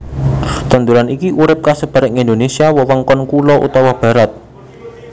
Tanduran iki urip kasebar ing Indonésia wewengkon kulon utawa barat